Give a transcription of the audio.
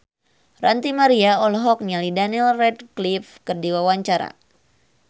Ranty Maria olohok ningali Daniel Radcliffe keur diwawancara